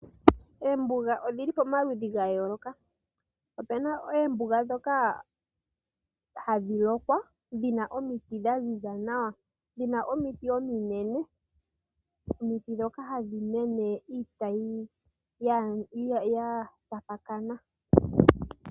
Eembuga odhili pomaludhi gayooloka. Opena eembuga dhoka hadhi lokwa dhina omiti dha ziza nawa, dhina omiti ominene, omiti dhoka hadhi mene iitayi ya tapakana.